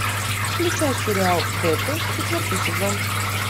включай сериал беты четвертый сезон